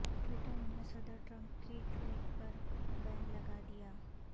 Twitter نے صدر Trump کی ٹویٹ پر بین لگا دیا